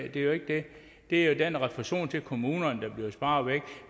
er jo ikke det det er jo den refusion til kommunerne der bliver sparet væk